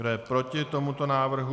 Kdo je proti tomuto návrhu?